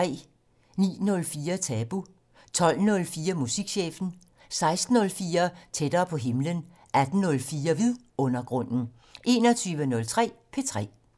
09:04: Tabu 12:04: Musikchefen 16:04: Tættere på himlen 18:04: Vidundergrunden 21:03: P3